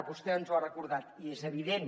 vostè ens ho ha recordat i és evident